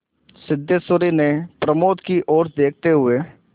सिद्धेश्वरी ने प्रमोद की ओर देखते हुए